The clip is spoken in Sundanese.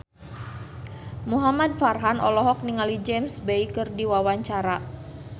Muhamad Farhan olohok ningali James Bay keur diwawancara